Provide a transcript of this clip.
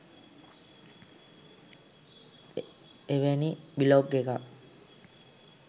එවැනි බ්ලොග් එකක්